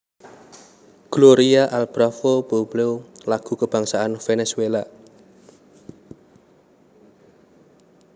Gloria al bravo pueblo iku lagu kabangsané Venezuela